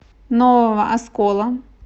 нового оскола